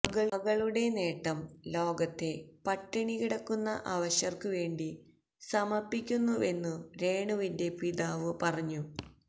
മകളുടെ നേട്ടം ലോകത്തെ പട്ടിണികിടക്കുന്ന അവശര്ക്കു വേണ്ടി സമര്പ്പിക്കുന്നുവെന്നു രേണുവിന്റെ പിതാവ് പറഞ്ഞു